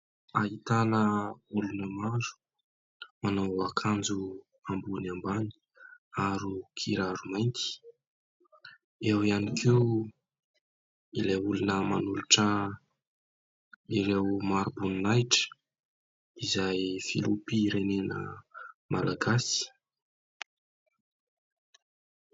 Ahitana olona maro; manao akanjo ambony ambany ary kiraro mainty. Eo ihany koa ilay olona manolotra ireo mari-boninahitra izay ny filoham-pirenena Malagasy.